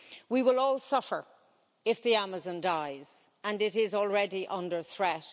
We will all suffer if the Amazon dies and it is already under threat.